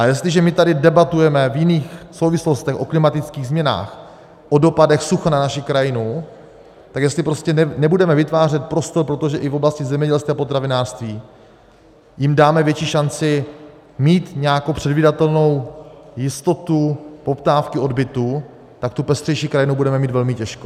A jestliže my tady debatujeme v jiných souvislostech o klimatických změnách, o dopadech sucha na naši krajinu, tak jestli prostě nebudeme vytvářet prostor, protože i v oblasti zemědělství a potravinářství jim dáme větší šanci mít nějakou předvídatelnou jistotu poptávky, odbytu, tak tu pestřejší krajinu budeme mít velmi těžko.